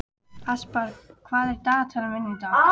Aspar, hvað er á dagatalinu mínu í dag?